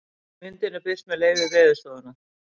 Myndin er birt með leyfi Veðurstofunnar.